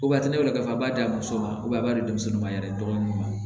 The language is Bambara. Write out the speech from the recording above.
a tɛ yɔrɔ wɛrɛ k'a fɔ a b'a di a bɛ muso ma a b'a di denmisɛnnin ma yɛrɛ dɔgɔninw ma